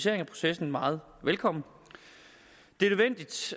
af processen meget velkommen det